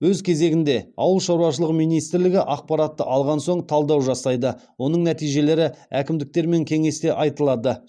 өз кезегінде ауыл шаруашылығы министрлігі ақпаратты алған соң талдау жасайды оның нәтижелері әкімдіктермен кеңесте айтылады